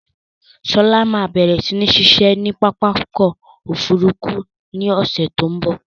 Sọlá máa bẹ̀rẹ̀ si ni ṣiṣẹ́ ni pápákọ̀ Òfurufú ni ọ̀sẹ̀ tó ń bọ̀.